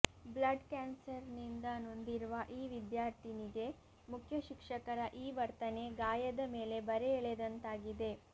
blood ಕ್ಯಾನ್ಸರ್ನಿಂದ ನೊಂದಿರುವ ಈ ವಿದ್ಯಾರ್ಥಿನಿಗೆ ಮುಖ್ಯಶಿಕ್ಷಕರ ಈ ವರ್ತನೆ ಗಾಯದ ಮೇಲೆ ಬರೆ ಎಳೆದಂತಾಗಿದೆ